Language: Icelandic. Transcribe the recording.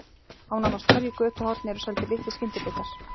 Á nánast hverju götuhorni eru seldir litlir skyndibitar.